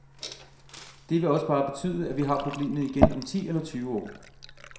Det vil også bare betyde, at vi har problemet igen om ti eller tyve år.